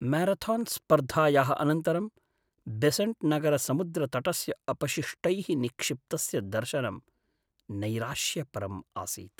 म्यारथान्स्पर्धायाः अनन्तरं बेसेण्ट्नगरसमुद्रतटस्य अपशिष्टैः निक्षिप्तस्य दर्शनं नैराश्यपरम् आसीत्।